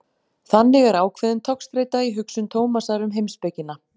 Þannig er ákveðin togstreita í hugsun Tómasar um heimspekina.